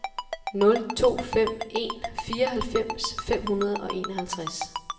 nul to fem en fireoghalvfems fem hundrede og enoghalvtreds